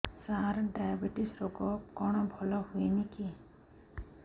ସାର diabetes ରୋଗ କଣ ଭଲ ହୁଏନି କି